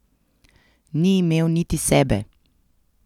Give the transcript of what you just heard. Ni imel niti sebe!